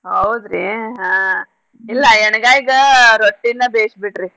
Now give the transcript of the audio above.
ಹೌದ್ರಿ ಹಾ. ಇಲ್ಲಾ ಎಣ್ಣೆಗಾಯಿ ಗ ರೊಟ್ಟೀನ ಬೇಷ್ ಬಿಡ್ರಿ.